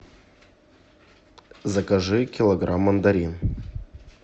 закажи килограмм мандарин